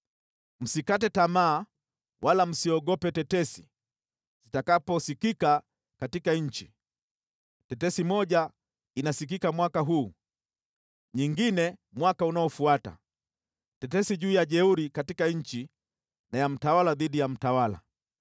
Msikate tamaa wala msiogope tetesi zitakaposikika katika nchi; tetesi moja inasikika mwaka huu, nyingine mwaka unaofuata; tetesi juu ya jeuri katika nchi, na ya mtawala dhidi ya mtawala.